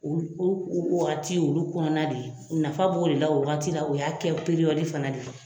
O o ko wagati olu kɔnɔna de ye nafa b'o de la o wagati de la, o y'a kɛ fana de ye